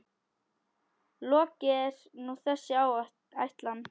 Lokið er nú þessi ætlan.